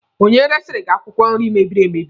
Onye resiri gị akwụkwọ nri mebiri emebi?